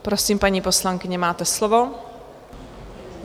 Prosím, paní poslankyně, máte slovo.